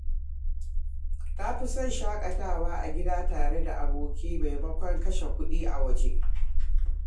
Ta fi son shakatawa a gida tare da abokai maimakon kashe kuɗi a waje.